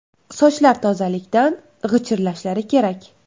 Sochlar tozalikdan g‘ichirlashlari kerak”.